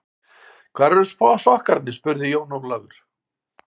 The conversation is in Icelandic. Hvar eru sokkarnir spurði Jón Ólafur.